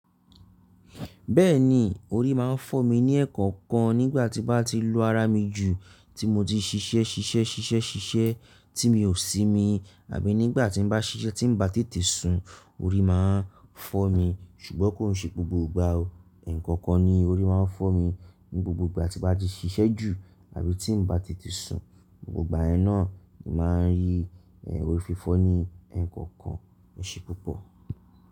Bẹ́ẹ̀ni, orí máa ń fọ́ mi ní ẹ́ẹ̀kọ̀kan nígbà tí bá ti lu ara mi jù tí mo ti ṣiṣẹ́ ṣiṣẹ́ ṣiṣẹ́ ṣiṣẹ́ tí mi ò sí mi àbí nígbà tí bá ṣiṣẹ́ tí bá tètè sùn orí máa ń fọ́ mi ṣùgbọ́n kò ń ṣe gbogbo ìgbà o ẹ̀ẹ̀kọ̀kan ni orí máa ń fọ́ mi ní gbogbo ìgbà tí bá ti ṣiṣẹ́ jù àbí tí bá tètè sùn gbogbo ìgbà ẹ náà ni màá ń rí orí fífọ́ ní ẹ̀ẹ̀kọ̀kan ṣe púpọ̀